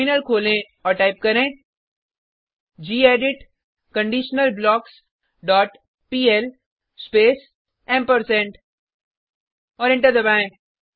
terminal खोलें और type करें gedit conditional blocks dot PL space ampersand और एंटर दबाएँ